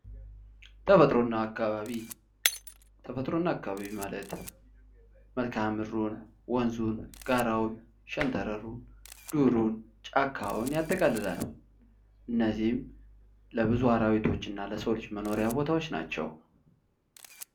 ተፈጥሮና አካባቢ ተፈጥሮና አካባቢ ማለት መልክአምድሩን ወንዙን ጋራውን ሸንተረሩን ዱሩን ጫካውን የሚያጠቃልል ሲሆን ያጠቃልላል እነዚህም ለብዙ አራዊቶች እና ለሰዎች መኖሪያ ቦታዎች ናቸው።